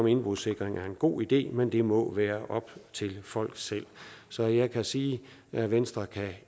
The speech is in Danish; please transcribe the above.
indbrudssikring en god idé men det må være op til folk selv så jeg kan sige at venstre